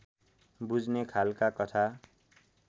बुझ्ने खालका कथा